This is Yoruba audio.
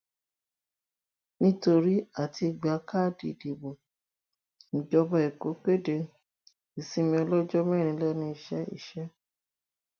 nítorí àti gba káàdì ìdìbò ìjọba èkó kéde ìsinmi ọlọjọ mẹrin lẹnu iṣẹ iṣẹ